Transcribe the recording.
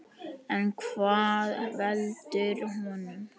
En hvað veldur honum?